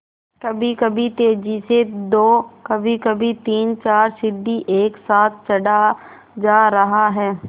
कभीकभी तेज़ी से दो कभीकभी तीनचार सीढ़ी एक साथ चढ़ा जा रहा है